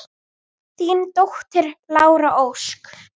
Þín dóttir, Lára Ósk.